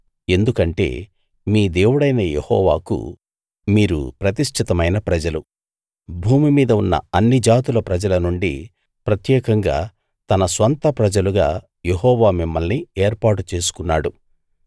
ఎందుకంటే మీ దేవుడైన యెహోవాకు మీరు ప్రతిష్టితమైన ప్రజలు భూమి మీద ఉన్న అన్ని జాతుల ప్రజల నుండి ప్రత్యేకంగా తన స్వంత ప్రజలుగా యెహోవా మిమ్మల్ని ఏర్పాటు చేసుకున్నాడు